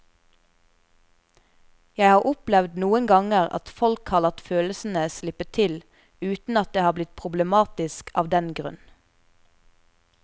Jeg har opplevd noen ganger at folk har latt følelsene slippe til uten at det er blitt problematisk av den grunn.